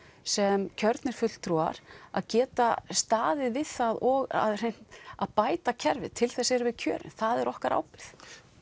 sem kjörnir fulltrúar að geta staðið við það og að að bæta kerfið til þess erum við kjörin það er okkar ábyrgð